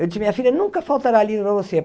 Eu disse, minha filha, nunca faltará livro para você.